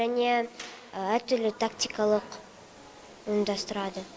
және әртүрлі тактикалық ұйымдастырады